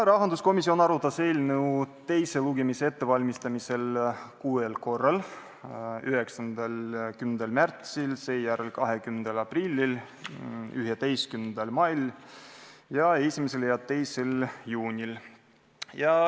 Rahanduskomisjon arutas eelnõu teise lugemise ettevalmistamiseks kuuel korral: 9., 10. märtsil, seejärel 20. aprillil, 11. mail ning 1. ja 2. juunil.